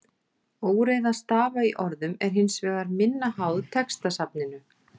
Óreiða stafa í orðum er hins vegar minna háð textasafninu.